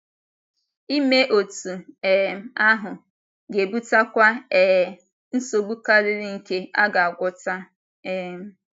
Ime otú um ahụ, ga-ebutakwa um nsogbu karịrị nke aga - agwọta. um